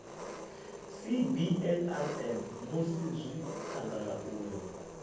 cbnrm musi zwi khagala uri